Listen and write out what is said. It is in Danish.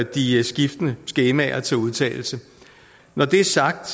de skiftende skemaer til udtalelse når det er sagt